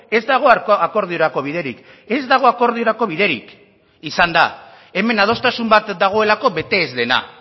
ez dago akordiorako biderik ez dago akordiorako biderik izan da hemen adostasun bat dagoelako bete ez dena